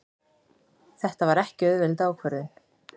Þetta var ekki auðveld ákvörðun.